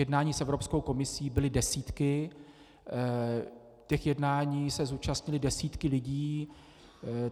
Jednání s Evropskou komisí byly desítky, těch jednání se zúčastnily desítky lidí.